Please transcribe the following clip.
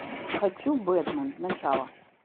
хочу бетмен начало